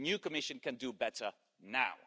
The new Commission can do better now.